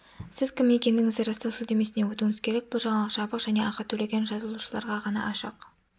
сіз кім екендігіңізді растау сілтемесіне өтуіңіз керек бұл жаңалық жабық және ақы төлеген жазылушыларға ғана ашық